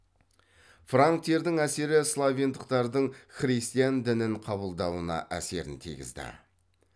франктердің әсері словендықтардың христиан дінін қабылдауына әсерін тигізді